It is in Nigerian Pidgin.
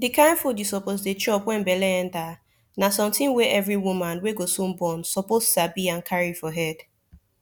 de kind food u suppose dey chop wen belle enter na sometin wey every woman wey go soon born suppose sabi and carry for head